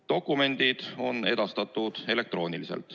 Dokumendid on edastatud elektrooniliselt.